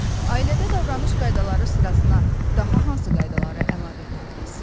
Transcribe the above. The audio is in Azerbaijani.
Ailədə davranış qaydaları sırasına daha hansı qaydaları əlavə edərdiz?